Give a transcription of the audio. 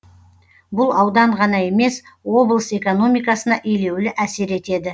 бұл аудан ғана емес облыс экономикасына елеулі әсер етеді